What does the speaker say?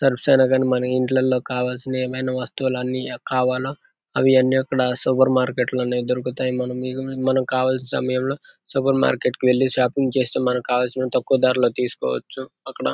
Surfs అయిన గాని మన ఇంట్లల్లో కావాల్సినవి ఏమైనా వస్తువులన్నీ కావాలా అవి అన్ని అక్కడ సూపర్ మార్కెట్ లోనే దొరుకుతాయి. మనం మనం కావాల్సిన సమయంలో సూపర్ మార్కెట్ కి వెళ్లి షాపింగ్ చేస్తూ మనకి కావలసిన తక్కువ ధరలో తీసుకోవచ్చు అక్కడ.